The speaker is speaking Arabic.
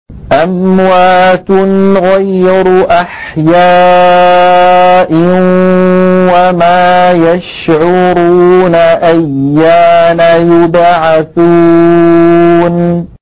أَمْوَاتٌ غَيْرُ أَحْيَاءٍ ۖ وَمَا يَشْعُرُونَ أَيَّانَ يُبْعَثُونَ